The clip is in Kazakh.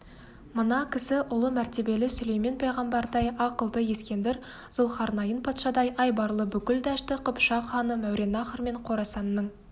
мына кісі ұлы мәртебелі сүлеймен пайғамбардай ақылды ескендір зұлхарнайын патшадай айбарлы бүкіл дәшті қыпшақ ханы мауреннахр мен қорасанның